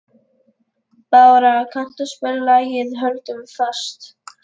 Bára, kanntu að spila lagið „Höldum fast“?